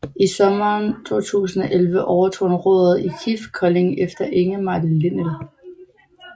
I sommeren 2011 overtog han roret i KIF Kolding efter Ingemar Linnell